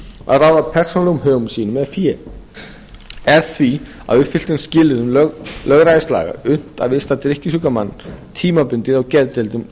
að ráða persónulegum högum sínum eða fé er því að uppfylltum skilyrðum lögræðislaga unnt að vista drykkjusjúkan mann tímabundið á geðdeildum